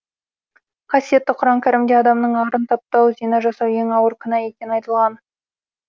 қасиетті құран кәрімде адамның арын таптау зина жасау ең ауыр күнә екені айтылған